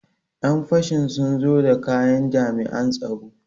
Ƴan fashin sun zo da kayan jami'an tsaro.